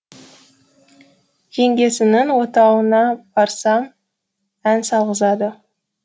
жеңгесінің отауына барсам ән салғызады